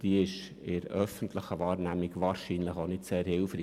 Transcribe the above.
Sie ist in der öffentlichen Wahrnehmung wahrscheinlich auch nicht sehr hilfreich.